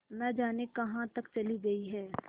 न जाने कहाँ तक चली गई हैं